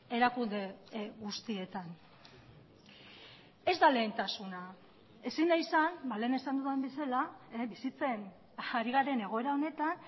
erakunde guztietan ez da lehentasuna ezin da izan lehen esan dudan bezala bizitzen ari garen egoera honetan